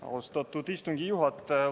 Austatud istungi juhataja!